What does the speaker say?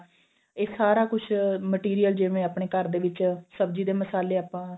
ਇਹ ਸਾਰਾ ਕੁੱਝ material ਜਿਵੇਂ ਆਪਣੇ ਘਰ ਦੇ ਵਿੱਚ ਸਬਜੀ ਦੇ ਮਸਾਲੇ ਆਪਾਂ